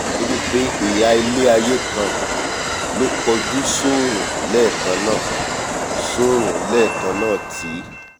nítorí pé ihà ilé-aiyé kan ló kojú sóòrùn lẹ́ẹ̀kan náà sóòrùn lẹ́ẹ̀kan náà tí